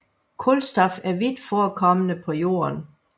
Kulstof er vidt forekommende på Jorden